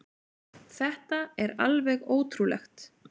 Þetta er alveg ótrúlegt